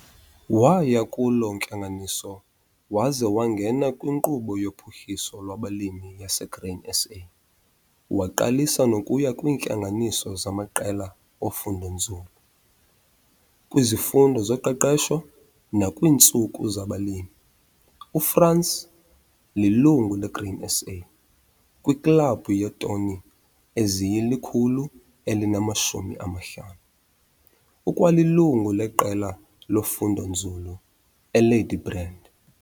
Waya kuloo ntlanganiso waze wangena kwiNkqubo yoPhuhliso lwabaLimi yaseGrain SA waqalisa nokuya kwiintlanganiso zamaqela ofundonzulu, kwizifundo zoqeqesho nakwiintsuku zabalimi. UFrans lilungu leGrain SA, kwiKlabhu yeeToni eziyi-500, ukwalilungu leQela loFundonzulu eLadybrand.